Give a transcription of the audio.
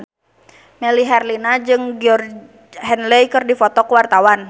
Melly Herlina jeung Georgie Henley keur dipoto ku wartawan